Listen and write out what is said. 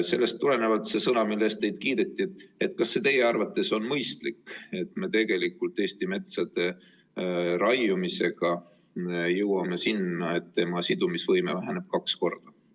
Sellest tulenevalt kasutan seda sõna, mille eest teid kiideti: kas see teie arvates on mõistlik, et me Eestis metsa raiumisega jõuame sinna, et tema sidumise võime väheneb kaks korda?